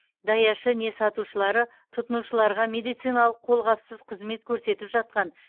даяшы не сатушылары тұтынушыларға медициналық қолғапсыз қызмет көрсетіп жатқан